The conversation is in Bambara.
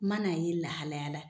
N mana' a ye lahalayala.